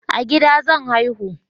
A gida zan haihu